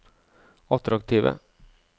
attraktive